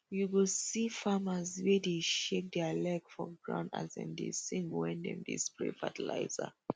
you go see farmers wey dey shake their leg for ground as dem dey sing wen dem dey spray fertilizer